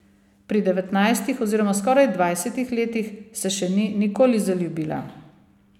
Pri devetnajstih oziroma skoraj dvajsetih letih se še ni nikoli zaljubila.